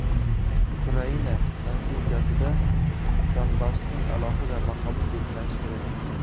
Ukraina Konstitutsiyasida Donbassning alohida maqomi belgilanishi kerak.